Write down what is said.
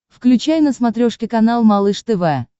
включай на смотрешке канал малыш тв